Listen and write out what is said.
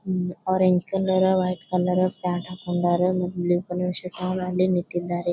Orange colour white colour pant ಹಾಕೊಂಡರ blue colour shirt ಹಾಕೊಂಡು ನಿಂತಿದ್ದಾರೆ.